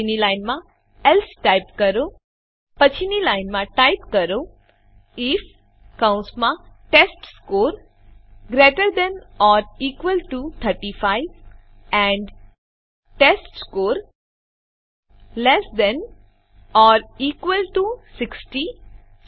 પછીની લાઈનમાં else type કરો પછીની લાઈનમાં ટાઈપ કરો આઇએફ કૌંસમાં test score greater than or equal to ૩૫ and test score less than or equal to ૬૦